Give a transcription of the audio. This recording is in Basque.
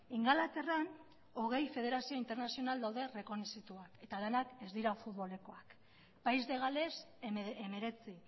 ingalaterran hogei federazio internazional daude errekonozituak eta denak ez dira futbolekoak país de gales hemeretzi